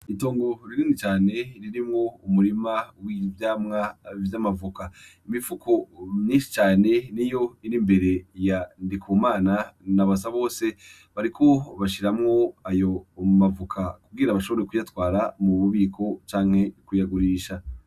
Itongo rinini cane ririmwo umurima w'ivyamwa vy'amavoka imifuko myinshi cane niyo ir'imbere ya Ndikumana na Basabose bariko bashiramwo ayo mavoka kugira bashobore kuyatwara mu bubiko canke kuyagurisha.